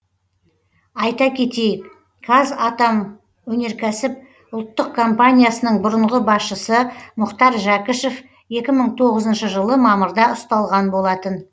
айта кетейік қазатомөнеркәсіп ұлттық компаниясының бұрынғы басшысы мұхтар жәкішев екі мың тоғызыншы жылы мамырда ұсталған болатын